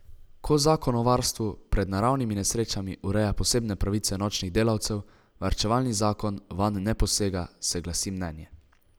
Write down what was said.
Ko zakon o varstvu pred naravnimi nesrečami ureja posebne pravice nočnih delavcev, varčevalni zakon vanj ne posega, se glasi mnenje.